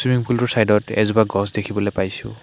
Swimming pool টোৰ চাইদ ত এজোপা গছ দেখিবলৈ পাইছোঁ।